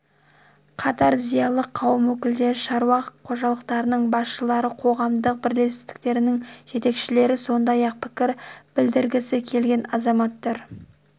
қатар зиялы қауым өкілдері шаруа қожалықтарының басшылары қоғамдық бірлестіктердің жетекшілері сондай-ақ пікір білдіргісі келген азаматтар